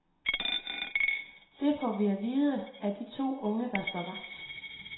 Det får vi at vide af to af de unge, der står vagt.